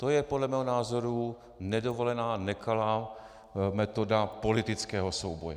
To je podle mého názoru nedovolená, nekalá metoda politického souboje.